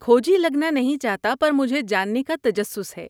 کھوجی لگنا نہیں چاہتا پر مجھے جاننے کا تجسس ہے۔